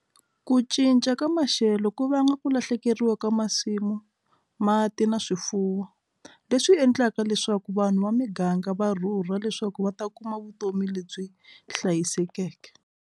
Ku cinca ka maxelo ku vanga ku lahlekeriwa ka masimu mati na swifuwo leswi endlaka leswaku vanhu va muganga va rhurha leswaku va ta kuma vutomi lebyi hlayisekeke.